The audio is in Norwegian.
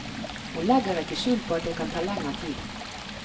Hun legger ikke skjul på at det kan ta lengre tid.